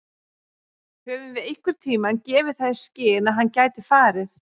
Höfum við einhverntímann gefið það í skyn að hann gæti farið?